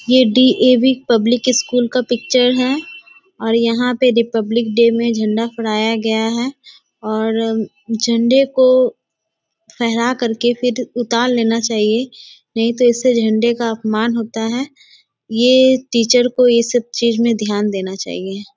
ये DAV. Public school का picture है और यहाँ पे रिपब्लिक डे में झंडा फहराया गया है और झंडे को फहरा कर के फिर उतार लेना सही है नही तो इससे झंडे का अपमान होता है। ये टीचर को ये सब चीज में ध्यान देना चाहिए।